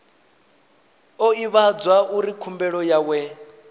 o ivhadzwa uri khumbelo yawe